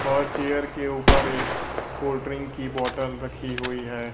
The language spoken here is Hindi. और चेयर के ऊपर एक कोल्ड ड्रिंक की बॉटल रखी हुई है।